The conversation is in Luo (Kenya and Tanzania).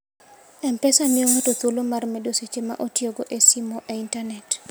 M-Pesa miyo ng'ato thuolo mar medo seche ma otiyogo e simo e intanet.